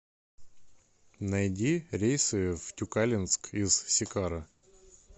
найди рейсы в тюкалинск из сикара